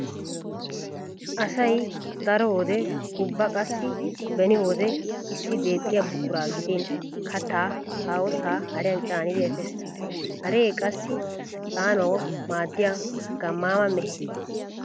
Asay daro wode ubba qassi beni owde issi deexxiya buquraa gidin kattaa haahosaa hariyan caanidi efees. Hare qassi caanawu maaddiya gammaama mehe.